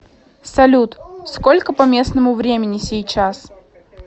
салют сколько по местному времени сейчас